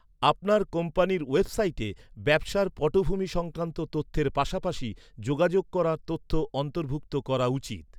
আপনার কোম্পানির ওয়েবসাইটে ব্যবসার পটভূমি সংক্রান্ত তথ্যের পাশাপাশি যোগাযোগ করার তথ্য অন্তর্ভুক্ত করা উচিত।